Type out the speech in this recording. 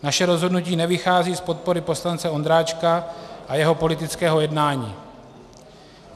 Naše rozhodnutí nevychází z podpory poslance Ondráčka a jeho politického jednání.